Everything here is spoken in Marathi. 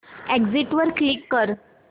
एग्झिट वर क्लिक कर